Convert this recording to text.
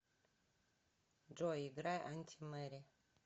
джой играй антимэри